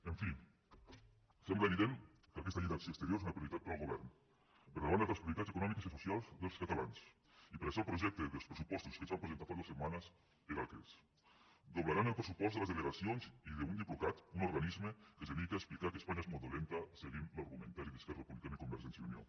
en fi sembla evident que aquesta llei d’acció exterior és una prioritat per al govern per davant d’altres prioritats econòmiques i socials dels catalans i per això el projecte dels pressupostos que ens van presentar fa dues setmanes era el que és doblaran el pressupost de les delegacions i d’un diplocat un organisme que es dedica a explicar que espanya és molt dolenta seguint l’argumentari d’esquerra republicana i convergència i unió